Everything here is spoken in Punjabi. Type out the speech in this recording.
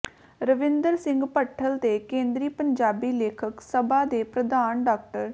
ਰਵਿੰਦਰ ਸਿੰਘ ਭੱਠਲ ਤੇ ਕੇਂਦਰੀ ਪੰਜਾਬੀ ਲੇਖਕ ਸਭਾ ਦੇ ਪ੍ਰਧਾਨ ਡਾ